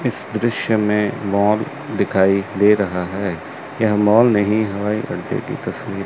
इस दृश्य में मॉल दिखाई दे रहा है यह मॉल नहीं हवाई अड्डे करते की तस्वीर--